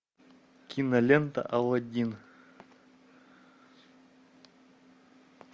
кинолента алладин